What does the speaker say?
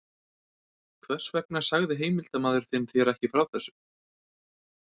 Hvers vegna sagði heimildarmaður þinn þér ekki frá þessu?